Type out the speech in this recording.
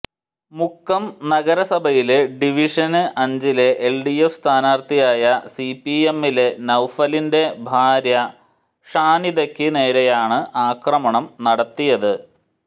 മുക്കം നഗരസഭയിലെ ഡിവിഷന് അഞ്ചിലെ എല്ഡിഎഫ് സ്ഥാനാര്ത്ഥിയായ സിപിഎമ്മിലെ നൌഫലിന്റെ ഭാര്യ ഷാനിദക്ക് നേരെയാണ് ആക്രമണം നടത്തിയത്